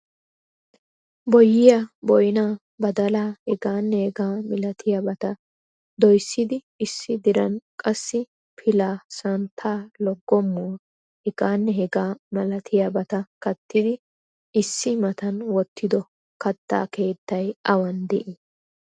Boyyiya, boynna, badalaa heganne hegaa malatiyaabata doyssidi issi diran qassi pilaa, santta, loggomuwa heganne hegaa malatiuaabata kattidi issi matan wottido katta keettay awan de'ii?